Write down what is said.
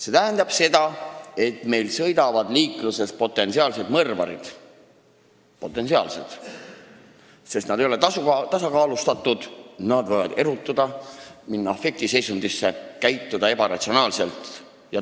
See tähendab seda, et meil sõidavad liikluses potentsiaalsed mõrvarid: nad ei ole tasakaalustatud, nad võivad erutuda, minna afektiseisundisse ja käituda ebaratsionaalselt.